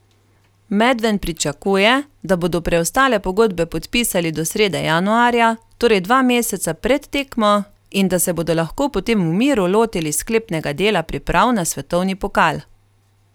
Medven pričakuje, da bodo preostale pogodbe podpisali do srede januarja, torej dva meseca pred tekmo, in da se bodo lahko potem v miru lotili sklepnega dela priprav na svetovni pokal.